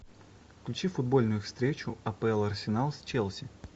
включи футбольную встречу апл арсенал с челси